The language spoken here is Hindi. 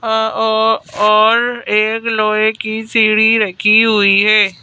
अअ- अ और और एक लोहे की सीढ़ी रखी हुई है।